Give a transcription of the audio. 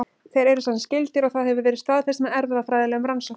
Þeir eru semsagt skyldir og það hefur verið staðfest með erfðafræðilegum rannsóknum.